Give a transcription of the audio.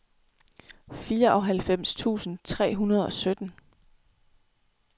fireoghalvfems tusind tre hundrede og sytten